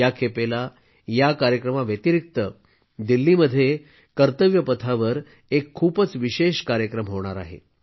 या खेपेस या कार्यक्रमा व्यतिरिक्त दिल्लीत कर्तव्यपथावर एक खूपच विशेष कार्यक्रम होणार आहे